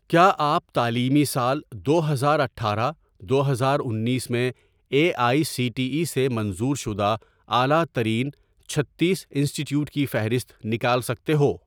کیا آپ تعلیمی سال دو ہزار اٹھارہ دو ہزار انیس میں A I C T E سے منظور شدہ اعلی ترین چھتیس انسٹی ٹیوٹ کی فہرست نکال سکتے ہو